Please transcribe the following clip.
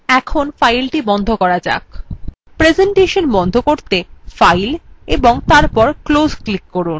এখন file বন্ধ করুন প্রেসেন্টেশন বন্ধ করতে file ও তারপর close click করুন